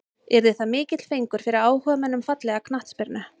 Yrði það mikill fengur fyrir áhugamenn um fallega knattspyrnu.